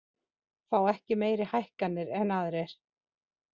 Fá ekki meiri hækkanir en aðrir